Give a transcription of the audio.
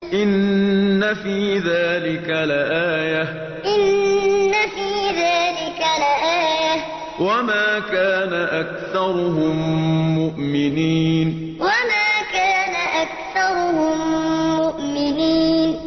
إِنَّ فِي ذَٰلِكَ لَآيَةً ۖ وَمَا كَانَ أَكْثَرُهُم مُّؤْمِنِينَ إِنَّ فِي ذَٰلِكَ لَآيَةً ۖ وَمَا كَانَ أَكْثَرُهُم مُّؤْمِنِينَ